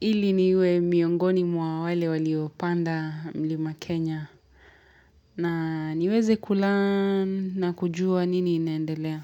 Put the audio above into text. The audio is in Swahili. Ili niwe miongoni mwa wale walio panda mlima Kenya na niweze kulearnn na kujua nini inendelea.